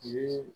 Yiri